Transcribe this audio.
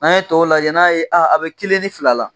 An ye tɔ lajɛ, n'a ye a a bɛ kelen ni fila la.